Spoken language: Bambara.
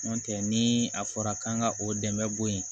N'o tɛ ni a fɔra k'an ka o dɛmɛ bɔ yen